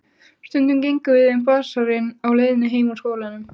Stundum gengum við um basarinn á leiðinni heim úr skólanum.